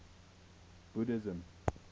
buddhism